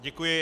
Děkuji.